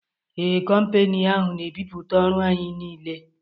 Ee, kompani ahụ n'ebiputa ọrụ anyị niile